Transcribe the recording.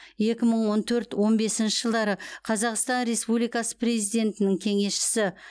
екі мың он төрт он бесінші жылдары қазақстан республикасы президентінің кеңесшісі